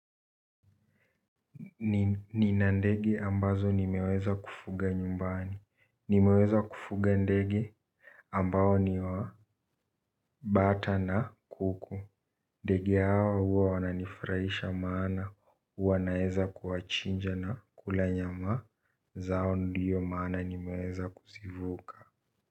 Nina ndege ambazo nimeweza kufuga nyumbani. Nimeweza kufuga ndege ambao ni wa bata na kuku. Ndege hawa huwa wananifurahisha maana huwa naeza kuwachinja na kula nyama zao ndiyo maana nimeweza kuzivuka.